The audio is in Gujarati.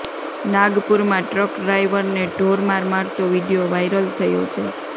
નાગપુરમાં ટ્રક ડ્રાઇવરને ઢોરમાર મારતો વીડિયો વાઇરલ થયો છે